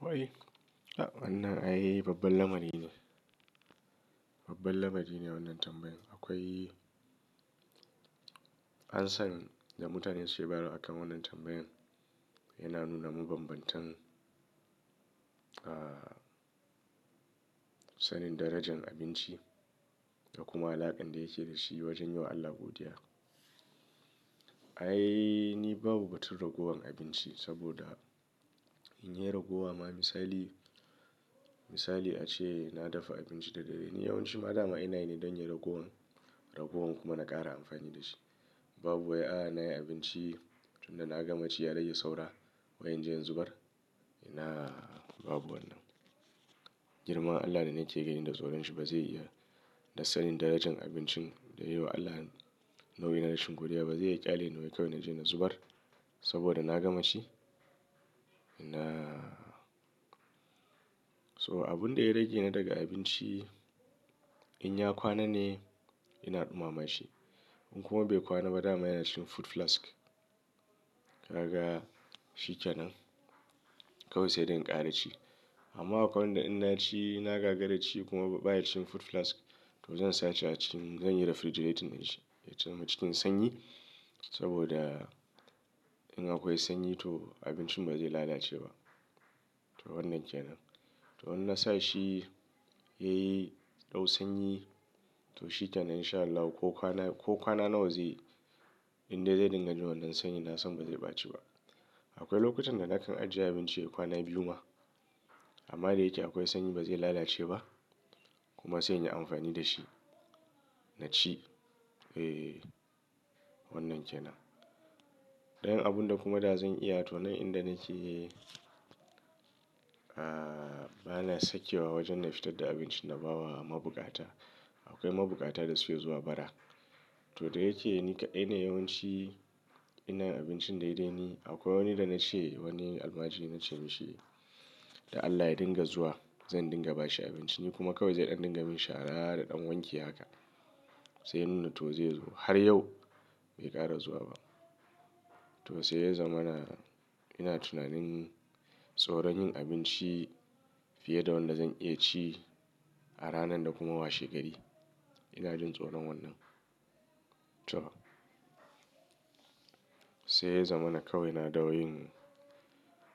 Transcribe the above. Wai? A'a, wannan ai babbar lamari ne. Babbar lamari ne wannan tambayan. Akwai answer da mutane suke bawa akan wannan tambayan yana nuna mabbanbantan, ah, sanin darajan abinci da kuma alaƙan da yake da shi wajen yiwa Allah godiya. Ai ni babu batun ragowan abinci saboda in yi ragowa ma misali, misali ace na dafa abinci da dare. Ni yawanci rana a ina ne don yin ragowan, ragowan kuma na ƙara amfani da shi. Babu wai a na yi abinci tun da na gama ci ya rage saura wai in je in zubar. Ina? Babu wannan. Girman Allah da nake gaini da tsoron shi ba zai iya da sanin darajan abincin da nayi wa Allah nauyi na rashin godiya ba zai iya ƙyale na wai kawai na je na zubar saboda na gama ci. Ina? So abun da ya rage na daga abinci in ya kwana ne ina ɗumama shi. In kuma bai kwana ba dama yana cikin food flask. Kaga? Shi ke nan. Kawai sai dai inkara ci. Amma akwai wanda in na ci na gagara ci kuma ba yake cikin food flask to zan sashi a cikin zan yi refrigerate inn shi. Ya cana cikin sanyi saboda in akwai sanyi to abincin ba zai lalace ba. To wannan ke nan. To in na sa shi yayi dau sanyi to shi kenan in sha Allah ko kwana, ko kwana nawa zai inda zai dinga jin wannan sanyi na san ba zai ɓaci ba. Akwai lokutan da nakan ajiye abinci a kwana biyu ma amma da yake akwai sanyi ba zai lalace ba kuma sai in yi amfani da shi na ci. Eh, wannan ke nan. Don yin abun da kuma da zan iya to nan inda nake, ah, bana sakewa wajen na fitar da abincin na bawa a mabukata. Akwai mabukata da suke zuwa bara. To da yake ni kadai yawanci ina abincin daidai ni akwai wani da na ce wani almajiri na ce mishi, "Da Allah ya dinga zuwa zan dinga bashi abinci." Ni kuma kawai zai ɗan dinga min shara da ɗan wanki haka. Sai nuna to zai zo. Har yau bai ƙara zuwa ba. To sai ya zama na ina tunanin tsoron yin abinci fiye da wanda zan iya ci a ranan da kuma wa shegari. Ina jin tsoron wannan. To. Sai ya zama na kawai na dawo yin